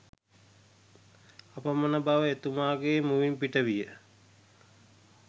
අපමණ බව එතුමාගේ මුවින් පිට විය